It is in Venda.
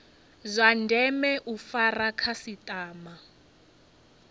zwa ndeme u fara khasitama